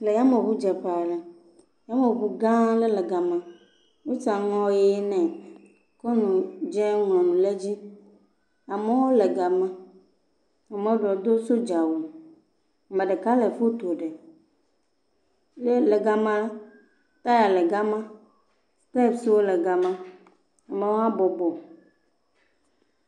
Le yameŋudzeƒe aɖe, yameŋu gã aɖe le gema. Wosi aŋɔ ʋi nɛ kɔ nu dzɛ̃ ŋlɔ nu ɖe edzi. Amewo le gema. Ame ɖewo do sodzawu. Ame ɖeka le foto ɖem. Ye le gema, taya le gema, spekswo le gema mɔa bɔbɔ.